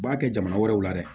U b'a kɛ jamana wɛrɛw la